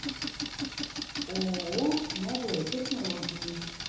ооо новые технологии